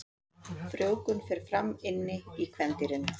Frjóvgun fer fram inni í kvendýrinu.